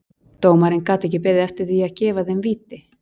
Dómarinn gat ekki beðið eftir því að gefa þeim víti.